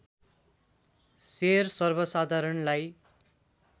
share सर्वसाधारणलाई